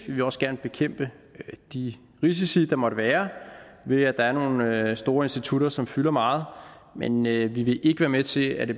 vil også gerne bekæmpe de risici der måtte være ved at der er nogle store institutter som fylder meget men vi vil ikke være med til at det